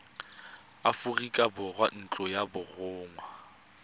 aforika borwa ntlo ya borongwa